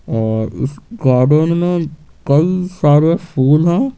और इस गार्डन में कई सारे फूल हैं।